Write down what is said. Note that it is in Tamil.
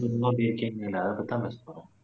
அதைப் பத்தி தான் பேச போறோம்